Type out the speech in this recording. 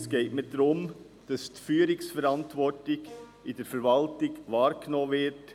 Es geht mir darum, dass die Führungsverantwortung in der Verwaltung wahrgenommen wird.